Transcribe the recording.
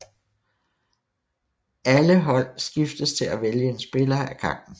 Alle holde skiftes til at vælge en spiller af gangen